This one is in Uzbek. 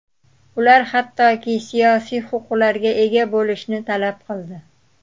Ular hattoki siyosiy huquqlarga ega bo‘lishni talab qildi.